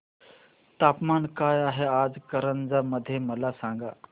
तापमान काय आहे आज कारंजा मध्ये मला सांगा